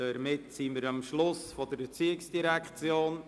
Damit sind wir am Ende der Geschäfte der ERZ angelangt.